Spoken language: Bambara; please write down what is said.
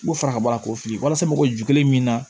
U fara ka bɔ a la k'o fili walasa mɔgɔ ju kelen min na